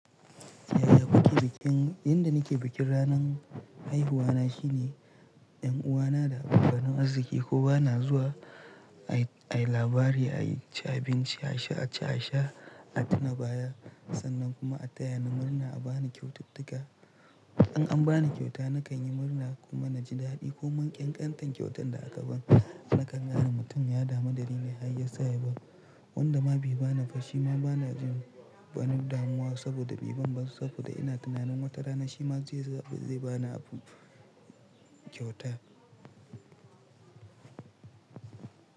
Yaya kuke bikin? Inda nake bikin ranan haihuwa na shine 'yan uwana da abokan arziki ko bana zuwa ayi labari, ayi ci abinci, a ci a sha, a tuna baya sannan kuma a taya ni murna a bani kyaututtuka. In an bani kyauta nakan yi murna kuma naji daɗi ko man ƙyanƙyanten kyautar da aka bani nakan gane mutum ya damu da nine hayya sa yarwa. Wanda ma bai bani ba shima bana jin bani damuwa saboda biban ban saboda ina tunanin wata rana shi ma zai zaɓi zai bani abin kyauta.